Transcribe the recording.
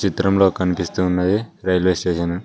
చిత్రంలో కనిపిస్తూ ఉన్నది రైల్వే స్టేషన్ .